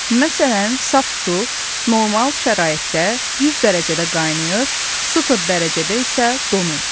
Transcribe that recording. Məsələn, saf su normal şəraitdə 100 dərəcədə qaynayır, sıfır dərəcədə isə donur.